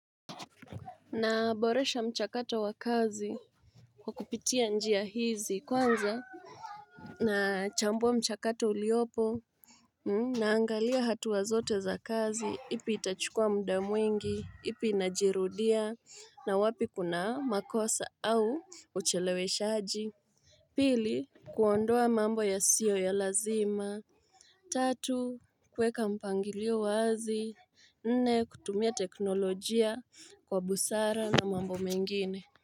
Naboresha mchakato wa kazi Kwa kupitia njia hizi. Kwanza na chambua mchakato uliopo Naangalia hatua zote za kazi, ipi itachukua muda mwingi, ipi inajirudia na wapi kuna makosa au ucheleweshaji Pili kuondoa mambo yasiyo ya lazima Tatu kuweka mpangilio wazi Nne kutumia teknolojia Kwa busara na mambo mengine.